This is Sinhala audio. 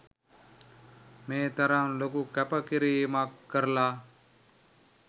මේ තරම් ලොකු කැපකිරීමක් කරලා